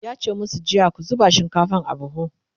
yace masu jiya " ku zuba shinkafan a buhu!"